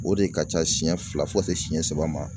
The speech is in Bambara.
O de ka ca siɲɛ fila fo ka se seɲɛ saba ma.